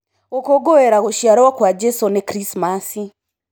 Ngũkũngũira gũciarwo kwa Jesũ nĩ Krismaci.